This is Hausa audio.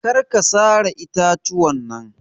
Karka sare itatuwan nan.